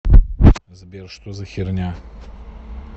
сбер что за херня